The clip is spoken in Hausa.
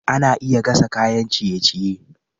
Ana iya gasa kayan ciye-ciye.